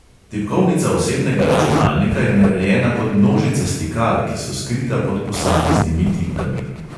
Tipkovnica osebnega računalnika je narejena kot množica stikal, ki so skrita pod posameznimi tipkami.